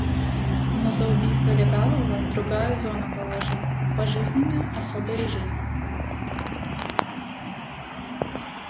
но за убийство легавого другая зона положена пожизненное особый режим